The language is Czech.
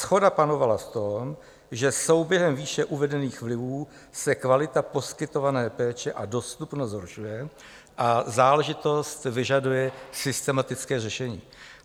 Shoda panovala v tom, že souběhem výše uvedených vlivů se kvalita poskytované péče a dostupnost zhoršuje a záležitost vyžaduje systematické řešení.